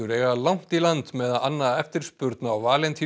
eiga langt í land með að anna eftirspurn á